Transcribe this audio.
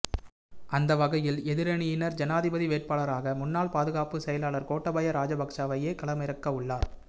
அந்தவகையில் எதிரணியினர் ஜனாதிபதி வேட்பாளராக முன்னாள் பாதுகாப்பு செயலாளர் கோட்டாபய ராஜபக்ஷவையே களமிறக்க உள்ளனர்